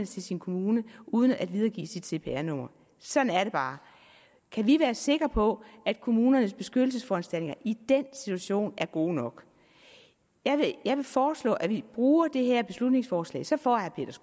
til sin kommune uden at videregive sit cpr nummer sådan er det bare kan vi være sikre på at kommunernes beskyttelsesforanstaltninger i den situation er gode nok jeg vil foreslå at vi bruger det her beslutningsforslag så får herre